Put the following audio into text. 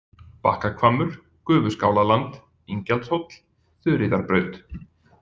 Bakkahvammur, Gufuskálaland, Ingjaldshóll, Þuríðarbraut